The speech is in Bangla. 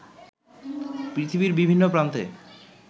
পৃথিবীর বিভিন্ন প্রান্তে